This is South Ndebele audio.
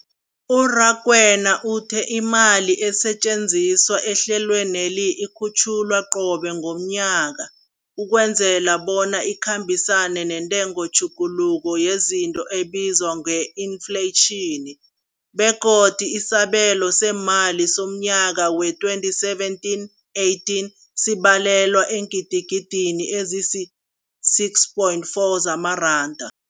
U-Rakwena uthe imali esetjenziswa ehlelweneli ikhutjhulwa qobe ngomnyaka ukwenzela bona ikhambisane nentengotjhuguluko yezinto ebizwa nge-infleyitjhini, begodu isabelo seemali somnyaka we-2017, 18 sibalelwa eengidigidini ezisi-6.4 zamaranda.